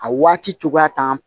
A waati cogoya t'an